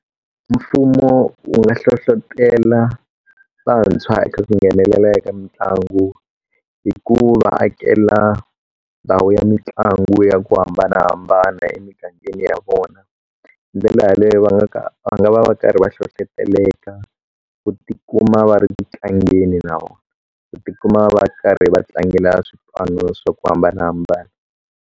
Mfumo wu nga hlohlotelo vantshwa eka ku nghenelela eka mitlangu hi ku va akela ndhawu ya mitlangu ya ku hambanahambana emigangeni ya vona ndlela yaleyo va nga ka va nga va karhi va hlohloteleka ku tikuma va ri tlangeni na ku tikuma va karhi va tlangela swipano swa ku hambanahambana.